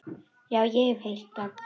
Já, ég hef heyrt það.